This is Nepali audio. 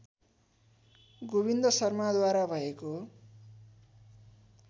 गोविन्द शर्माद्वारा भएको